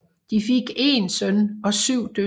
De fik én søn og syv døtre